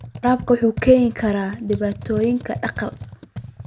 Waraabku wuxuu keeni karaa dhibaatooyin dhaqaale.